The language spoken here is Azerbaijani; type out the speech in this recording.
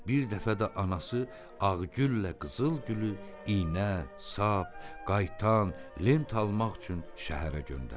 Bir dəfə də anası Ağgüllə Qızılgülü iynə, sap, qaytan, lent almaq üçün şəhərə göndərdi.